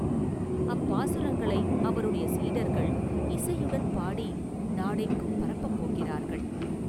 அப்பாசுரங்களை அவருடைய சீடர்கள் இசையுடன் பாடி நாடெங்கும் பரப்பப் போகிறார்கள்.